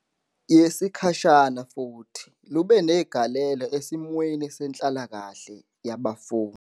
Yesikhashana futhi lube negalelo esimweni senhlalakahle yabafundi.